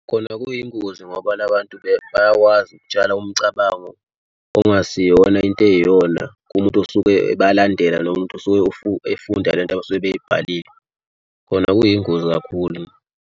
Khona kuyingozi ngoba la bantu bayakwazi ukutshala umcabango ongasiyona into eyiyona kumuntu osuke bayalandela nomuntu osuke efunda le nto abasuke beyibhalile. Khona kuyingozi kakhulu.